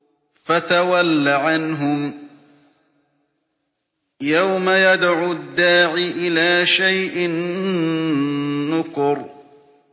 فَتَوَلَّ عَنْهُمْ ۘ يَوْمَ يَدْعُ الدَّاعِ إِلَىٰ شَيْءٍ نُّكُرٍ